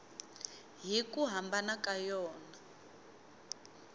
hi ku hambana ka yona